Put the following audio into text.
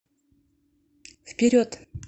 вперед